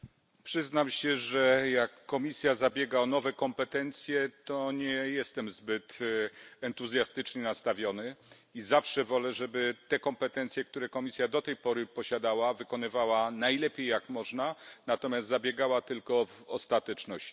Panie Przewodniczący! Przyznam się, że jak Komisja zabiega o nowe kompetencje, to nie jestem zbyt entuzjastycznie nastawiony i zawsze wolę, żeby te kompetencje, które Komisja do tej pory posiadała, wykonywała najlepiej jak można, natomiast zabiegała tylko w ostateczności.